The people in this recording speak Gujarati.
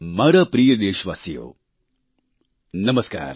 મારા પ્રિય દેશવાસીઓ નમસ્કાર